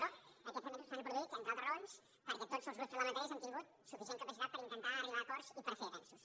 però aquests avenços s’han produït entre altres raons perquè tots els grups parlamentaris hem tingut suficient capacitat per intentar arribar a acords i per fer avenços